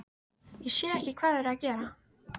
Ég sé ekki hvað þau eru að gera.